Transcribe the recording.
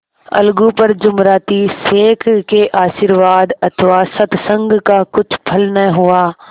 अलगू पर जुमराती शेख के आशीर्वाद अथवा सत्संग का कुछ फल न हुआ